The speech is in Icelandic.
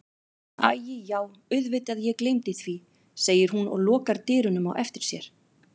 Æi já auðvitað ég gleymdi því, segir hún og lokar dyrunum á eftir sér.